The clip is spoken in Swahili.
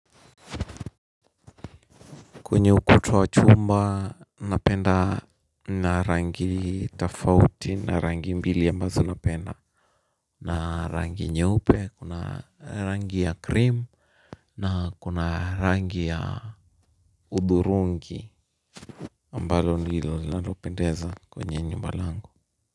Kwenye ukuta wa chuma napenda na rangi tofauti na rangi mbili ambazo napenda na rangi nyeupe kuna rangi ya krim na kuna rangi ya hudhurungi ambalo ndilo linalopendeza kwenye nyumba langu.